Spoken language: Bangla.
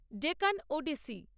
ডেকান ওড়িশি